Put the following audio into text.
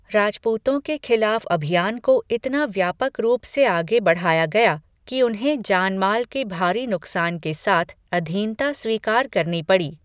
राजपूतों के खिलाफ अभियान को इतना व्यापक रूप से आगे बढ़ाया गया कि उन्हें जान माल के भारी नुकसान के साथ अधीनता स्वीकार करनी पड़ी।